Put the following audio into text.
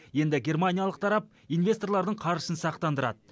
енді германиялық тарап инвесторлардың қаржысын сақтандырады